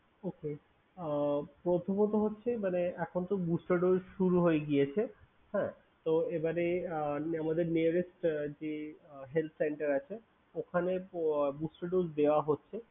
Okay আহ প্রথমত হচ্ছে মানে এখনতো booster dose শুরু হয়ে গিয়েছে। হ্যাঁ? তো এবারে আহ আমাদের nearest আহ যে health center আছে ওখানে আহ booster dose দেওয়া হচ্ছে।